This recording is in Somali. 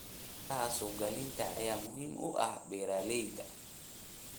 Xeeladaha suuq-geynta ayaa muhiim u ah beeralayda.